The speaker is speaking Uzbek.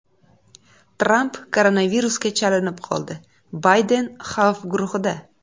Tramp koronavirusga chalinib qoldi, Bayden xavf guruhida.